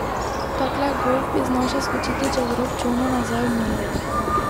Takle gof bi znal še skočiti čez rob čolna nazaj v morje.